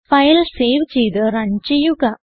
file save ചെയ്ത് run ചെയ്യുക